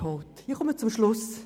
Ich komme zum Schluss.